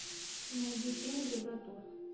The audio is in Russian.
найди фильм евротур